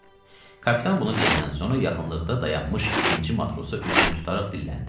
Kapitan bunu deyəndən sonra yaxınlıqda dayanmış ikinci matrosa üzünü tutaraq dilləndi: